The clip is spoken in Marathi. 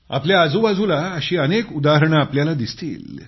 आपल्या आजूबाजूला अशी अनेक उदाहरणे तुम्हाला दिसतील